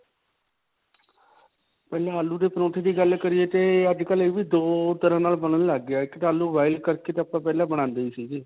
ਪਹਿਲਾਂ ਆਲੂ ਦੇ ਪਰੌਂਠੇ ਦੀ ਗੱਲ ਕਰੀਏ ਤੇ ਅੱਜਕਲ੍ਹ ਇਹ ਵੀ ਦੋ ਤਰ੍ਹਾਂ ਨਾਲ ਬਣਨ ਲੱਗ ਗਿਆ ਹੈ. ਇੱਕ ਆਲੂ boil ਕਰਕੇ ਤਾਂ ਆਪਾਂ ਪਹਿਲਾ ਬਣਾਂਦੇ ਸੀਗੇ.